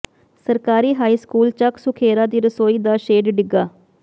ਸਰਕਾਰੀ high school Chak Sukhera ਦੀ ਰਸੋਈ ਦਾ ਸ਼ੈੱਡ ਡਿੱਗਾ